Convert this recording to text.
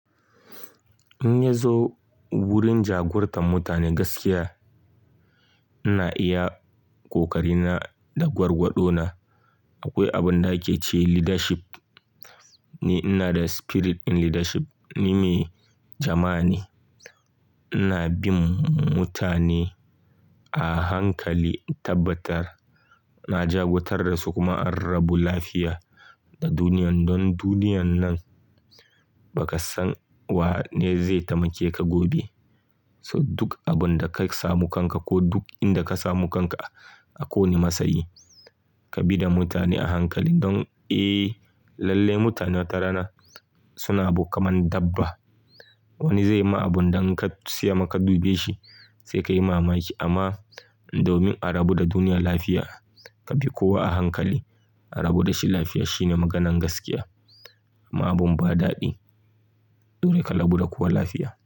In ya zo wurin jagorantar mutane gaskiya, ina iya ƙoƙari na da gwargwado na. Akwai abin da ake ce leadership, ni ina da spirit in leadership, ni mai jama'a ne. Ina bin mutane a hankali, in tabbatar na jagoratar da su kuma an rabu lafiya da duniyan don duniyan nan ba ka san wa ne zai taimake ka gobe. So duk abin da ka samu kanka ko duk inda ka samu kanka a ko wanne matsayi, ka bi da mutane a hankali don, eh lallai mutane wata rana suna abu kaman dabba. Wani zai yi ma abin da in ka tsaya ma ka dube shi sai ka yi mamaki amma domin a rabu da duniyar lafiya, ka bi kowa a hankali. A rabu da shi lafiya shi ne maganan gaskiya. Ma abun ba daɗi, dole ka rabu da kowa lafiya.